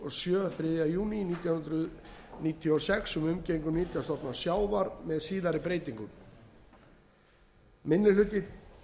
júní nítján hundruð níutíu og sex um umgengni um nytjastofna sjávar með síðari breytingum fyrsti minni hluti